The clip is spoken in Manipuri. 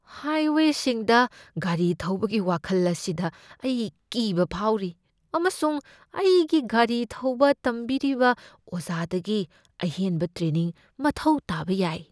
ꯍꯥꯏꯋꯦꯁꯤꯡꯗ ꯒꯥꯔꯤ ꯊꯧꯕꯒꯤ ꯋꯥꯈꯜ ꯑꯁꯤꯗ ꯑꯩ ꯀꯤꯕ ꯐꯥꯎꯔꯤ, ꯑꯃꯁꯨꯡ ꯑꯩꯒꯤ ꯒꯥꯔꯤ ꯊꯧꯕ ꯇꯝꯕꯤꯔꯤꯕ ꯑꯣꯖꯥꯗꯒꯤ ꯑꯍꯦꯟꯕ ꯇ꯭ꯔꯦꯅꯤꯡ ꯃꯊꯧ ꯇꯥꯕ ꯌꯥꯏ꯫